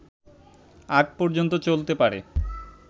আগ পর্যন্ত চলতে পারে